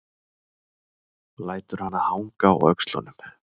Lætur hana hanga á öxlunum.